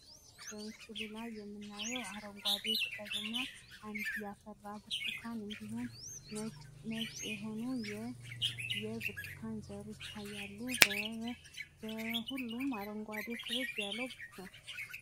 በምስሉ ላይ የምናየዉ አረንጓዴ ቅጠል እና አንድ ያፈራ ብርቱካን እንዲሁም ነጭ የሆኑ የብርቱካን ዘሮች ይታያሉ፡፡ በሁሉም አረንጓጌ ክብብ ያለ ነው፡፡